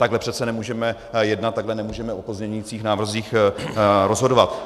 Takhle přece nemůžeme jednat, takhle nemůžeme o pozměňujících návrzích rozhodovat.